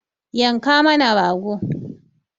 Yanka mana rago!